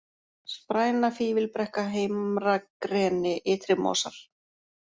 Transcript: Spræna, Fífilbrekka, Heimragreni, Ytrimosar